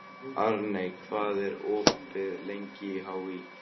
Arney, hvað er opið lengi í HÍ?